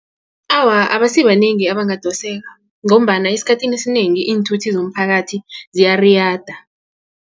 Awa, abasibanengi abangadoseka ngombana esikhathini esinengi iinthuthi zomphakathi ziyariyada.